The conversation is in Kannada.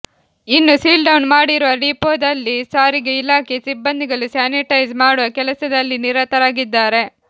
ಇನ್ನು ಸೀಲ್ಡೌನ್ ಮಾಡಿರುವ ಡಿಪೋದಲ್ಲಿ ಸಾರಿಗೆ ಇಲಾಖೆ ಸಿಬ್ಬಂದಿಗಳು ಸ್ಯಾನಿಟೈಸ್ ಮಾಡುವ ಕೆಲಸದಲ್ಲಿ ನಿರತರಾಗಿದ್ದಾರೆ